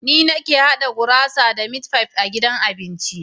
Ni nake haɗa gurasa da mit fife a gidan abincin.